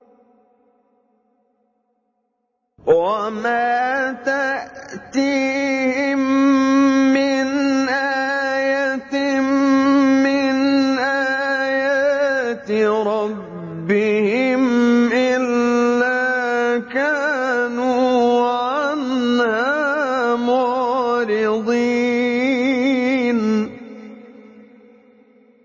وَمَا تَأْتِيهِم مِّنْ آيَةٍ مِّنْ آيَاتِ رَبِّهِمْ إِلَّا كَانُوا عَنْهَا مُعْرِضِينَ